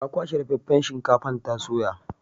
Ta kwashe dafaffen shinkafar ta soya.